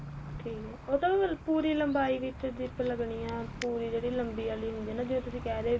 ਠੀਕ ਏ ਉਹ ਤਾਂ ਫੇਰ ਪੂਰੀ ਲੰਬਾਈ ਵਿੱਚ zip ਲੱਗਣੀ ਏ ਪੂਰੀ ਜਿਹੜੀ ਲੰਬੀ ਵਾਲੀ ਹੁੰਦੀ ਏ ਨਾ ਜਿਵੇਂ ਤੁਸੀਂ ਕਹਿ ਰਹੇ ਓ